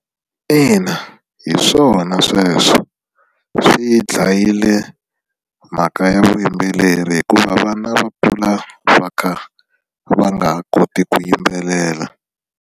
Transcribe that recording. Ina hi swona sweswo swi dlayile mhaka ya vuyimbeleri hikuva vana va kula va kha va nga ha koti ku yimbelela.